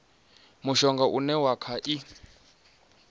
mushonga une wa kha i